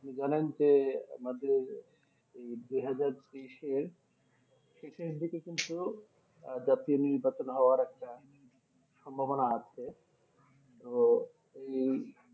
ধরেন যে মানে দুহাজার, দুহাজার তেইশ এর শেষের দিকে কিন্তু আহ একটা সম্ভবনা আছে তো এই